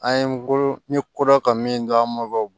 An ye n bolo n ye kodɔn ka min dɔn an ma